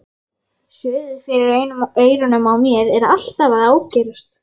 Suðið fyrir eyrunum á mér er alltaf að ágerast.